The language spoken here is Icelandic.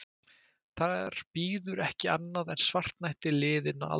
Þar bíður ekki annað en svartnætti liðinna alda.